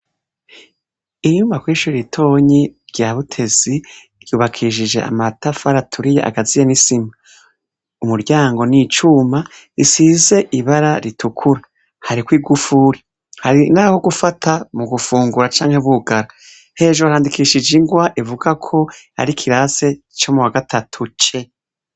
Inyuma ko i shiritonyi rya butezi ryubakishije amatafaraturiye agaziya misima umuryango n'icuma risize ibara ritukura hariko i gufuri hari, naho gufata mu gufungura canke bugara hejoro handikishije ingwa ivuga ko ari kirase ico mu wa gatatu ce.